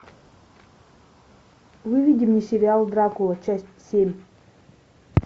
выведи мне сериал дракула часть семь